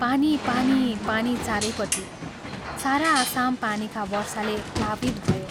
पानी पानी पानी चारैपट्टि, सारा आसाम पानीका वर्षाले प्लावित भयो।